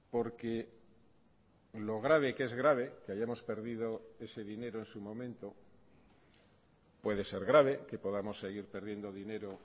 porque lo grave que es grave que hayamos perdido ese dinero en su momento puede ser grave que podamos seguir perdiendo dinero